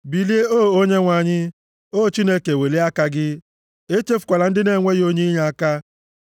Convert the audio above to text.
Bilie O Onyenwe anyị! O Chineke welie aka gị, echefukwala ndị na-enweghị onye inyeaka.